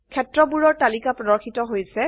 ক্ষেত্ৰবোৰ ৰ তালিকা প্ৰদৰ্শিত হৈছে